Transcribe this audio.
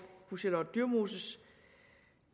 fru charlotte dyremoses